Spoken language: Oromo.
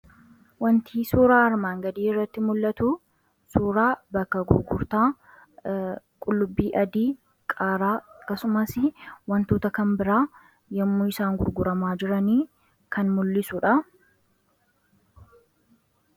Waanti suuraa armaan gadii irratti mul'atu suuraa bakka gurgurtaa qullubbii adii, qaaraa akkasumas wantoota kan biraa yommuu isaan gurguramaa jiranii kan mul'isudha.